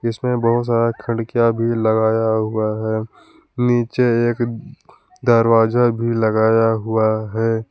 इसमें बहुत सारा खिड़कियां भी लगाया हुआ है नीचे एक दरवाजा भी लगाया हुआ है।